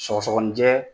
Sɔgɔsɔgɔnijɛ